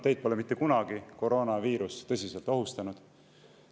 Teid pole mitte kunagi koroonaviirus tõsiselt ohustanud.